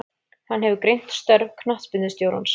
Hann hefur greint störf knattspyrnustjórans.